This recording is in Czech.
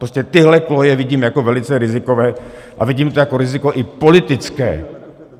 Prostě tyhle koleje vidím jako velice rizikové a vidím to jako riziko i politické.